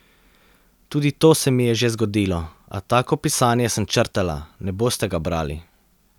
Tudi to se mi je že zgodilo, a tako pisanje sem črtala, ne boste ga brali.